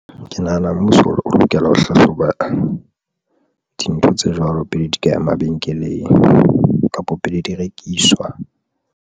Ke nahana mmuso o lokela ho hlahloba dintho tse jwalo pele di ka ya mabenkeleng kapo pele di rekiswa.